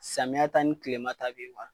Samiyɛ ta ni kilema ta bɛ yen